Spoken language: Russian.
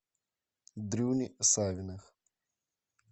дрюни савиных